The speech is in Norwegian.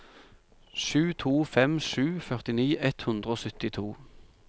sju to fem sju førtini ett hundre og syttito